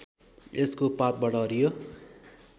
यसको पातबाट हरियो